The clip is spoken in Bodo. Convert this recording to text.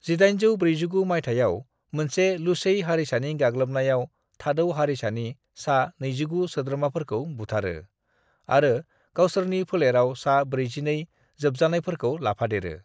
1849 मायथाइयाव मोनसे लुसेइ हारिसानि गाग्लोबनायाव थाडौ हारिसानि सा 29 सोद्रोमफोरखौ बुथारो आरो गावसोरनि फोलेराव सा 42 जोबजानायफोरखौ लाफादेरो।